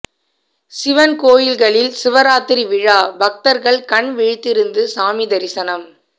சிவன் கோயில்களில் சிவராத்திரி விழா பக்தர்கள் கண் விழித்திருந்து சாமி தரிசனம்